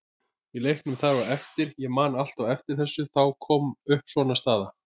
Í leiknum þar á eftir, ég man alltaf eftir þessu, þá kom upp svona staða.